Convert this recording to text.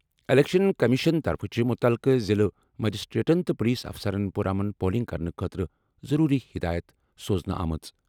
Election commission طرفہٕ چھِ مُتعلقہٕ ضِلعہٕ مجسٹریٹن تہٕ پُلیٖس اَفسَرن پُرامن پولنگ کرنہٕ خٲطرٕ ضروٗری ہِدایَت سوزنہٕ آمٕژ۔